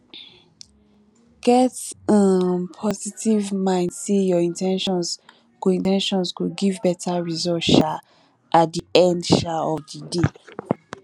get um positive mind sey your in ten tions go in ten tions go give better result um at di end um of di day